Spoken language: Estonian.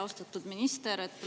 Austatud minister!